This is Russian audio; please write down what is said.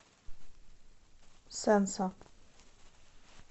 сэнсо